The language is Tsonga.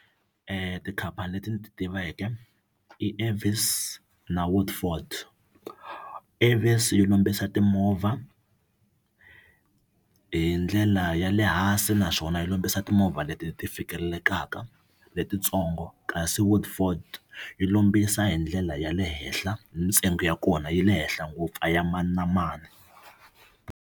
Tikhampani leti ni ti tiveke i Avis na Woodford Avis yo lombisa timovha hi ndlela ya le hansi naswona yi lombisa timovha leti ti fikelelelaka letitsongo kasi Woodford yi lombisa hi ndlela ya le henhla ni ntsengo ya kona yi le henhla ngopfu a ya mani na mani.